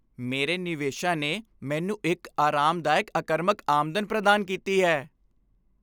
ਮੇਰੇ ਨਿਵੇਸ਼ਾਂ ਨੇ ਮੈਨੂੰ ਇੱਕ ਆਰਾਮਦਾਇਕ ਅਕਰਮਕ ਆਮਦਨ ਪ੍ਰਦਾਨ ਕੀਤੀ ਹੈ।